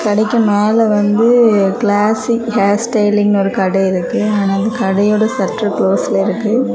கடைக்கு மேல வந்து கிளாசிக் ஹேர் ஸ்டைலிங் ஒரு கடை இருக்கு ஆனா அந்த கடையோட சட்று குளோஸ்ல இருக்கு.